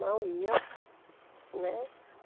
Não ia, né?